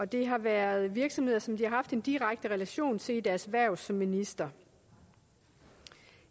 det har været virksomheder som de har haft en direkte relation til i deres hverv som minister